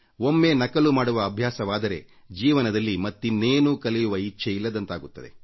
ಒಮ್ಮೆ ನಕಲು ಮಾಡುವ ಅಭ್ಯಾಸವಾದರೆ ಜೀವನದಲ್ಲಿ ಮತ್ತಿನ್ನೇನೂ ಕಲಿಯುವ ಇಚ್ಛೆ ಇಲ್ಲದಂತಾಗುತ್ತದೆ